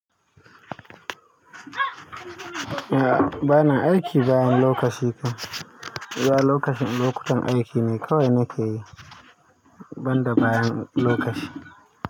A'a bana aiki bayan lokaci. Ia lokacin lokutan aiki ne kawai na kayi, banda bayan lokaci.